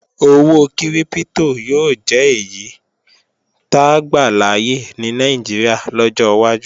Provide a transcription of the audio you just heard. Owó kírípítò yóò jẹ́ èyí táa gbàláyè ní Nàìjíríà lọ́jọ́ wájú